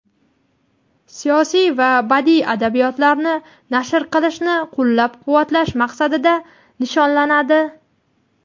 siyosiy va badiiy adabiyotlarni nashr qilishni qo‘llab-quvvatlash maqsadida nishonlanadi.